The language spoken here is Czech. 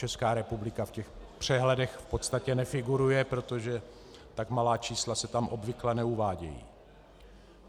Česká republika v těch přehledech v podstatě nefiguruje, protože tak malá čísla se tam obvykle neuvádějí.